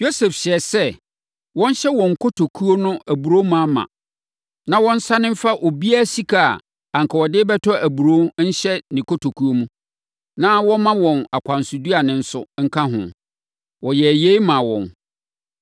Yosef hyɛɛ sɛ, wɔnhyɛ wɔn nkotokuo no aburoo ma ma, na wɔnsane mfa obiara sika a anka ɔde rebɛtɔ aburoo nhyɛ ne kotokuo mu, na wɔmma wɔn akwansoduane nso nka ho. Wɔyɛɛ yei maa wɔn.